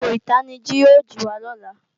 Aago ìtanijí ó jìwa lọ́la